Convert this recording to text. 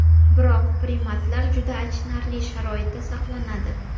Biroq primatlar juda achinarli sharoitda saqlanadi.